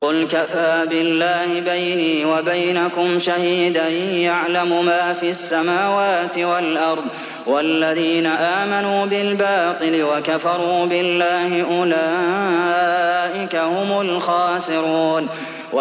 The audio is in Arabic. قُلْ كَفَىٰ بِاللَّهِ بَيْنِي وَبَيْنَكُمْ شَهِيدًا ۖ يَعْلَمُ مَا فِي السَّمَاوَاتِ وَالْأَرْضِ ۗ وَالَّذِينَ آمَنُوا بِالْبَاطِلِ وَكَفَرُوا بِاللَّهِ أُولَٰئِكَ هُمُ الْخَاسِرُونَ